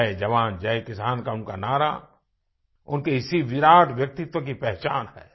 जय जवान जय किसान का उनका नारा उनके इसी विराट व्यक्तित्व की पहचान है